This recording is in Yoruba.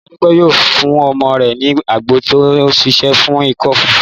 Ìyá Dúpẹ́ yóò fún ọmọ rẹ̀ ní àgbo tó ń ṣiṣẹ́ fún ikọ́ ife